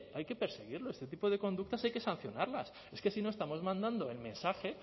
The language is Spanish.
hay que perseguirlo este tipo de conductas han que sancionarlas es que si no estamos mandando el mensaje